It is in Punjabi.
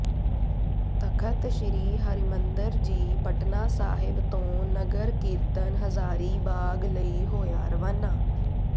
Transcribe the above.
ਤਖ਼ਤ ਸ੍ਰੀ ਹਰਿਮੰਦਰ ਜੀ ਪਟਨਾ ਸਾਹਿਬ ਤੋਂ ਨਗਰ ਕੀਰਤਨ ਹਜ਼ਾਰੀ ਬਾਗ ਲਈ ਹੋਇਆ ਰਵਾਨਾ